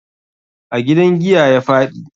A gidan giya ya faɗi.